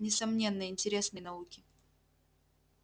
несомненно интересные науки